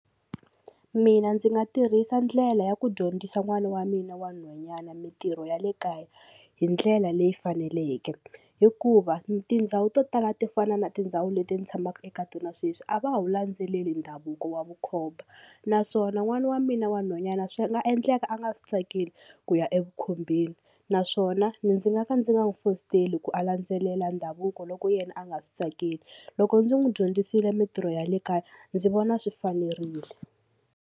Mina ndzi nga tirhisa ndlela ya ku dyondzisa n'wana wa mina wa nhwanyana mintirho ya le kaya hi ndlela leyi faneleke hikuva tindhawu to tala to fana na tindhawu leti ni tshamaka eka tona sweswi a va wu landzeleli ndhavuko wa vukhomba naswona n'wana wa mina wa nhwanyana swi nga endleka a nga swi tsakeli ku ya evukhombeni naswona ndzi nga ka ndzi nga n'wi fositela ku a landzelela ndhavuko loko yena a nga swi tsakeli loko ndzi n'wi dyondzisile mintirho ya le kaya ndzi vona swi fanerile.